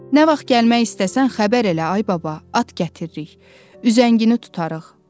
Nə vaxt gəlmək istəsən, xəbər elə, ay baba, at gətiririk, üzəngini tutarıq.